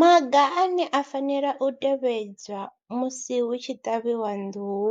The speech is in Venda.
Maga ane a fanela u tevhedzwa musi hu tshi ṱavhiwa nḓuhu,